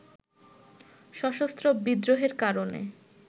সশস্ত্র বিদ্রোহের কারণে